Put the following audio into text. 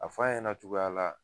A f'a ɲɛna cogoya la.